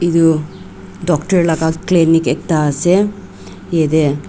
edu doctor laka clinic ekta ase yatae.